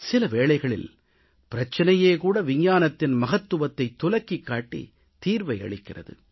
சில வேளைகளில் பிரச்சினையே கூட விஞ்ஞானத்தின் மகத்துவத்தைத் துலக்கிக் காட்டித் தீர்வை அளிக்கிறது